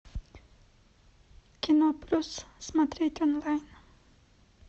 кино плюс смотреть онлайн